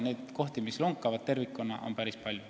Neid kohti, mis tervikuna lonkavad, on päris palju.